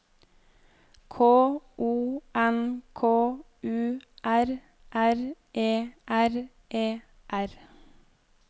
K O N K U R R E R E R